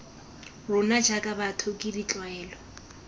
rona jaaka batho ke ditlwaelo